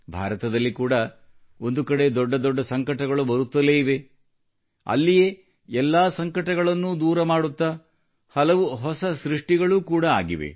ಭಾರತದಲ್ಲಿ ಕೂಡ ಒಂದು ಕಡೆ ದೊಡ್ಡ ದೊಡ್ಡ ಸಂಕಟಗಳು ಬರುತ್ತಲೇ ಇವೆ ಅಲ್ಲಿಯೇ ಎಲ್ಲಾ ಸಂಕಟಗಳನ್ನೂ ದೂರ ಮಾಡುತ್ತಾ ಹಲವು ಹೊಸ ಸೃಷ್ಟಿಗಳು ಕೂಡ ಆಗಿದೆ